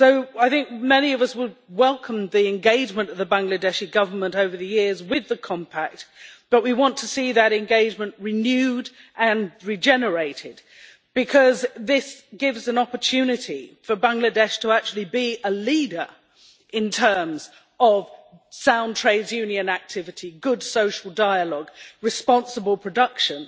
I think many of us would welcome the engagement of the Bangladeshi Government over the years with the Compact, but we want to see that engagement renewed and regenerated because this gives an opportunity for Bangladesh to actually be a leader in terms of sound trades union activity, good social dialogue, responsible production